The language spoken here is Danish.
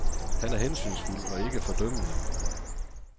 Han er hensynsfuld og ikke fordømmende.